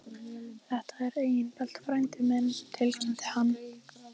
Þetta er Engilbert frændi minn tilkynnti hann.